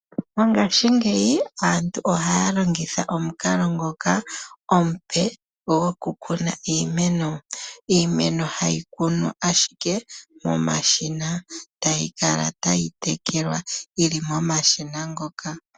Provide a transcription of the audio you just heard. Mongaashingeyi aantu ohaya longitha omukalo ngoka omupe gokukuna iimeno, iimeno hayi kunwa ashike momashina tayi kala tayi tekelwa yili momashina ngoka.